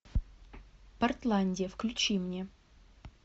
портландия включи мне